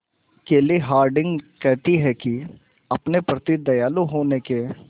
केली हॉर्डिंग कहती हैं कि अपने प्रति दयालु होने के